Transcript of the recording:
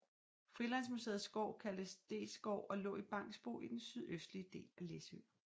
Frilandsmuseets gård kaldtes Dethsgård og lå i Bangsbo i den sydøstlige del af Læsø